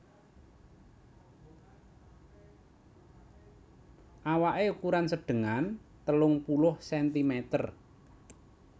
Awaké ukuran sedengan telung puluh sentimeter